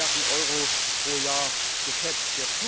200 Milliarden Euro pro Jahr geschätzt.